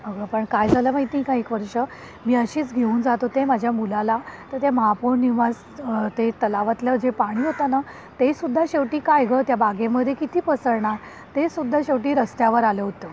अगं पण काय झाल माहित आहे का एक वर्ष, मी अशीच घेऊन जात होते माझ्या मुलाला तर ते महापौर निवास ते तलावतले पाणी होत ना ते सुद्धा शेवटी काय ग त्या बागेमध्ये किती पसरणार ते सुद्धा शेवटी रस्त्यावर आलं होतं.